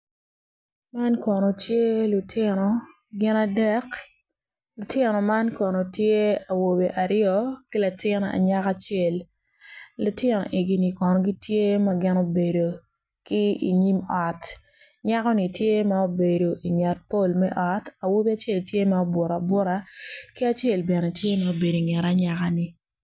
Man kono lutino gin adek lutino man kono tye awobe aryo ki latin anyaka acel lutino egini kono gitye ma gubedo ki inyim ot nyakoni tye ma obedo inget pol me ot awobi acel tye ma obuto abuta ki acel bene tye ma obedo inget anyakani.